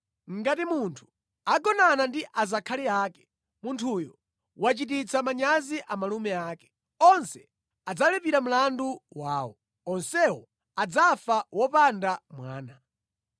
“ ‘Ngati munthu agonana ndi azakhali ake, munthuyo wachititsa manyazi a malume ake. Onse adzalipira mlandu wawo. Onsewo adzafa wopanda mwana.